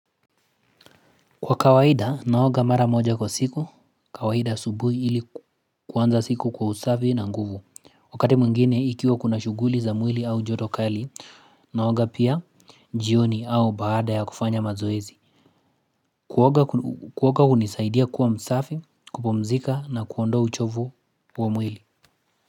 Kwa kawaida, naoga mara moja kwa siku, kawaida subuhi ili kuanza siku kwa usafi na nguvu. Wakati mwingine, ikiwa kuna shughuli za mwili au jotokali, naoga pia jioni au baada ya kufanya mazoezi. Kuoga kunisaidia kuwa msafi, kupumzika na kuondo uchovu wa mwili.